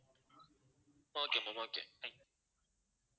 okay thank you